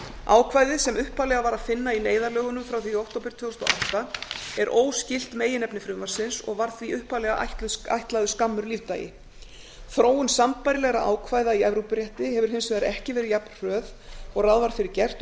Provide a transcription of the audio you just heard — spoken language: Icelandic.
ákvæðið sem upphaflega var að finna í neyðarlögunum frá því í október tvö þúsund og átta er óskylt meginefni frumvarpsins og var því upphaflega ætlaður skammur lífdagi þróun sambærilegra ákvæða í evrópurétti hefur hins vegar ekki verið jafn hröð og ráð var fyrir gert